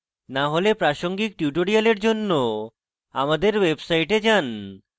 না হলে প্রাসঙ্গিক tutorial জন্য আমাদের website পরিদর্শন করুন